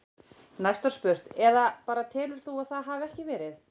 Næst var spurt: Eða bara telur þú að það hafi ekki verið?